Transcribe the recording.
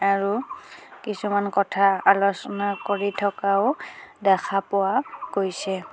আৰু কিছুমান কথা আলোচনা কৰি থকাও দেখা পোৱা গৈছে.